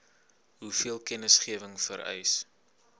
hoeveel kennisgewing vereis